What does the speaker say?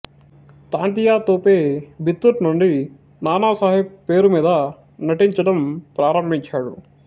తాంతియా తోపే బితుర్ నుండి నానా సాహెబ్ పేరు మీద నటించడం ప్రారంభించాడు